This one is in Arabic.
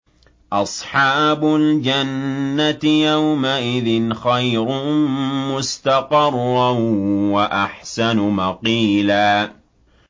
أَصْحَابُ الْجَنَّةِ يَوْمَئِذٍ خَيْرٌ مُّسْتَقَرًّا وَأَحْسَنُ مَقِيلًا